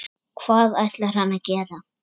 Hvað ætlar hann að gera?